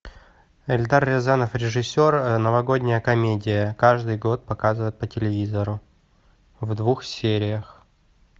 эльдар рязанов режиссер новогодняя комедия каждый год показывают по телевизору в двух сериях